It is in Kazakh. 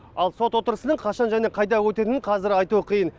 ал сот отырысының қашан және қайда өтетінін қазір айту қиын